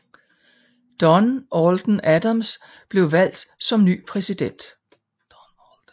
Don Alden Adams blev valgt som ny præsident